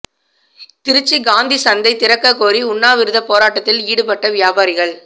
திருச்சி காந்தி சந்தை திறக்கக் கோரி உண்ணாவிரத போராட்டத்தில் ஈடுபட்ட வியாபாரிகள்